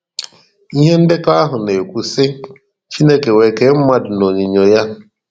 Ihe ndekọ ahụ na-ekwu sị: Chineke wee kee mmadụ n’onyinyo ya.